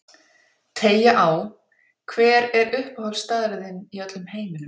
Teygja á Hver er uppáhaldsstaðurinn þinn í öllum heiminum?